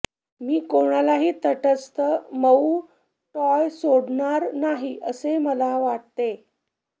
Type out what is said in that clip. मी कोणालाही तटस्थ मऊ टॉय सोडणार नाही असे मला वाटते